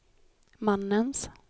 mannens